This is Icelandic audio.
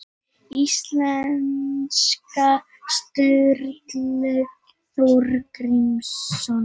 Íslendingasaga Sturlu Þórðarsonar